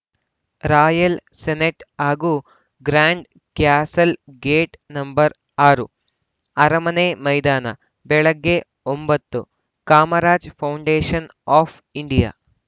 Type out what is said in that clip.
royal senate ಹಾಗೂ grand castle gate number ಆರು ಅರಮನೆ ಮೈದಾನ ಬೆಳಗ್ಗೆ ಒಂಬತ್ತು ಕಾಮರಾಜ ಫೌಂಡೇಷನ್‌ ಆಫ್‌ ಇಂಡಿಯಾ